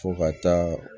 Fo ka taa